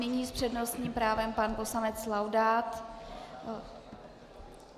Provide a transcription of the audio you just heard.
Nyní s přednostním právem pan poslanec Laudát.